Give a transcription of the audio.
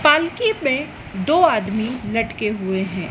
पालकी पे दो आदमी लटके हुए हैं।